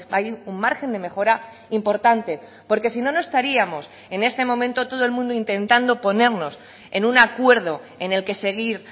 hay un margen de mejora importante porque si no no estaríamos en este momento todo el mundo intentando ponernos en un acuerdo en el que seguir